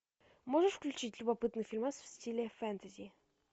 можешь включить любопытный фильмас в стиле фэнтези